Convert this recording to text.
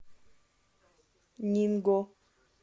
нинго